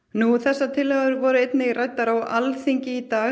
já þessar tillögur voru einnig ræddar á Alþingi í dag